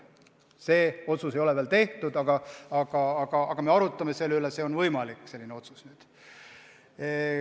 See otsus ei ole veel tehtud, aga me arutame selle üle ja on võimalik, et selline otsus tuleb nüüd.